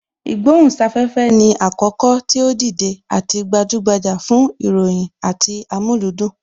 Ìgbohùn sáfẹ́fẹ́ ni àkókò tí ó dìde àti gbajúgbajà fún ìròyìn àti amúlùúdùn